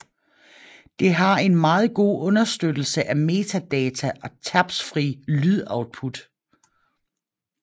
Det har en meget god understøttelse af metadata og tabsfrit lydoutput